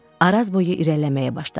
Arazboyu irəliləməyə başladı.